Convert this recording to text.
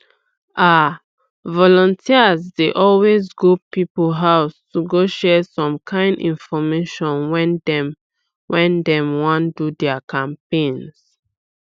ah volunteers dey always go people house to go share some kind infomation when dey when dey wan do their campaigns